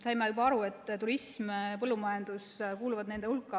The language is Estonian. Saime juba aru, et turism ja põllumajandus kuuluvad nende hulka.